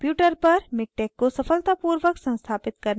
अपने computer पर miktex को सफलतापूर्वक संस्थापित करने के बाद